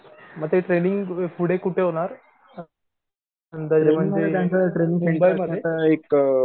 म ते ट्रैनिंग पुढे कुठे होणार